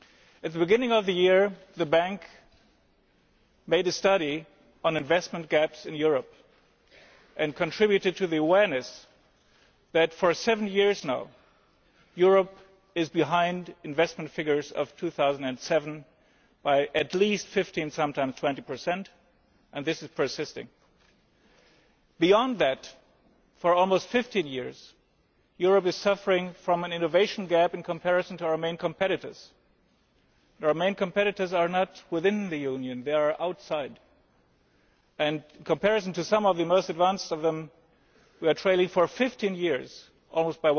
At the beginning of the year, the Bank made a study on investment gaps in Europe and contributed to the awareness that, for seven years now, Europe has been behind the 2007 investment figures by at least 15 and sometimes 20, and this is persisting. Beyond that, for almost 15 years Europe has been suffering from an innovation gap in comparison to our main competitors. Our main competitors are not within the Union, they are outside, and in comparison to some of the most advanced of them, we have been trailing for 15 years by almost